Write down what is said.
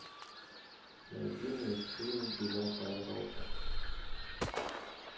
найди мне фильм девятая рота